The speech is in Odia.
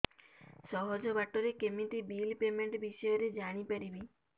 ସହଜ ବାଟ ରେ କେମିତି ବିଲ୍ ପେମେଣ୍ଟ ବିଷୟ ରେ ଜାଣି ପାରିବି